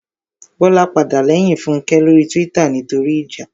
Bọ́lá padà lẹ́yìn Fúnkẹ́ lórí túwítà nítorí ìjà